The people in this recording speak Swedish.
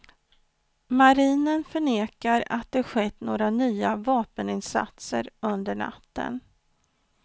Marinen förnekar att det skett några nya vapeninsatser under natten.